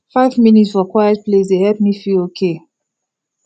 five minute for quiet place dey help me feel okay